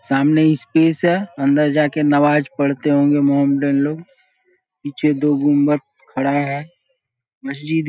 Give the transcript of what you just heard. सामने इस्पेस है अंन्दर जा के नवाज़ पढ़ते होंगे मोमडन लोग पीछे दो गुम्बद खड़ा है मस्जिद --